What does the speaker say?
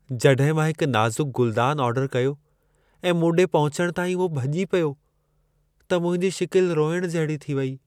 जॾहिं मां हिक नाज़ुक गुलदान ऑर्डर कयो ऐं मूं ॾे पहुचण ताईं उहो भॼी पियो, त मुंहिंजी शिकिल रोइण जहिड़ी थी वई।